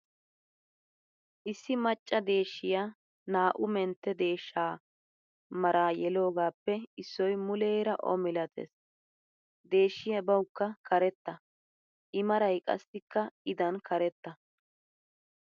Issi macca deeshshiyaa naa'u mentte deeshsha mara yelogappe issoy muleera O milattees. Deeshshiyaa bawukka karetta. I maray qassikka i dan karettaa.